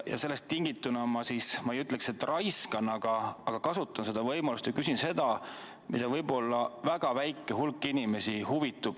Sellest tingituna kasutan võimalust ja küsin seda, millest võib-olla väga väike hulk inimesi huvitub.